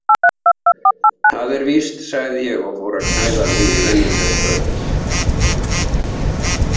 Það er víst, sagði ég og fór að klæða mig í venjuleg föt.